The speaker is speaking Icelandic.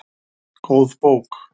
Góð bók